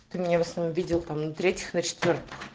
ты меня в основном видел там на третьих на четвёртых